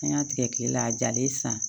An y'a tigɛ kilela a jalen san